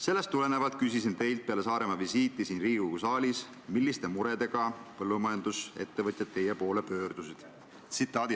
Sellest tulenevalt küsisin teilt peale teie Saaremaa visiiti siin Riigikogu saalis, milliste muredega põllumajandusettevõtjad teie poole pöördusid.